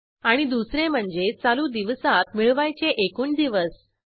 आणि दुसरे म्हणजे चालू दिवसात मिळवायचे एकूण दिवस